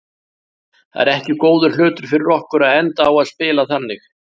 Það er ekki góður hlutur fyrir okkur að enda á að spila þannig.